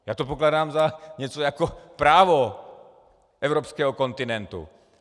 Já to pokládám za něco jako právo evropského kontinentu.